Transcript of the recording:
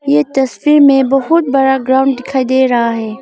ये तस्वीर में बहुत बड़ा ग्राउंड दिखाई दे रहा है।